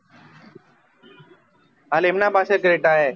હાલ એમનાં પાશે creta હે